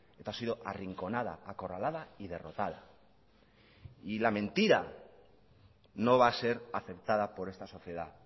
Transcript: eta ha sido arrinconada acorralada y derrotada y la mentira no va a ser aceptada por esta sociedad